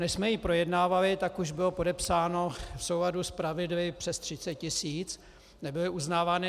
Než jsme ji projednávali, tak už bylo podepsáno v souladu s pravidly přes 30 tisíc, nebyly uznávány.